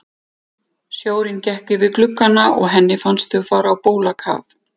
Sjórinn gekk yfir gluggana og henni fannst þau fara á bólakaf.